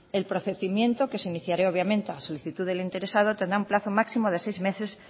el procedimiento que se iniciará obviamente a solicitud del interesado tendrá un plazo máximo de seis meses